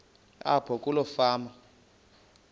apho kuloo fama